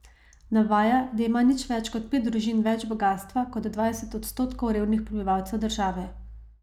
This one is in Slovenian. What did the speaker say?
Navaja, da ima nič več kot pet družin več bogastva kot dvajset odstotkov revnih prebivalcev države.